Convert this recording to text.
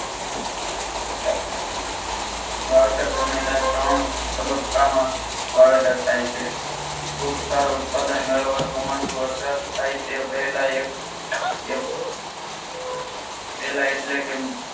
વાવેતર સમયના ત્રણ તબક્કામાં વાવેતર થાય છે ખૂબ સારો ઉત્પાદન મેળવવા ચોમાસુ વરસાદ થાય તે પહેલા એક એક પહેલા એટલે કે